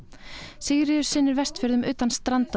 Sigríður sinnir Vestfjörðum utan Stranda